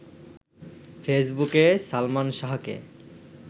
ফেসবুকে সালমান শাহকে